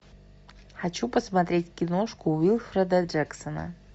хочу посмотреть киношку уилфреда джексона